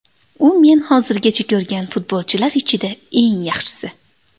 U men hozirgacha ko‘rgan futbolchilar ichida eng yaxshisi.